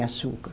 E açúcar.